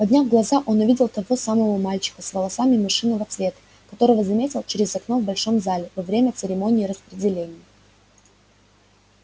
подняв глаза он увидел того самого мальчика с волосами мышиного цвета которого заметил через окно в большом зале во время церемонии распределения